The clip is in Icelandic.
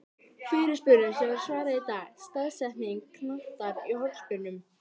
Fyrirspurnum sem var svarað í dag:-Staðsetning knattar í hornspyrnum?